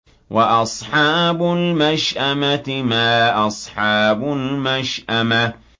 وَأَصْحَابُ الْمَشْأَمَةِ مَا أَصْحَابُ الْمَشْأَمَةِ